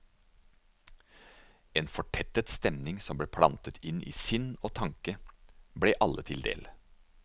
En fortettet stemning som ble plantet inn i sinn og tanke, ble alle til del.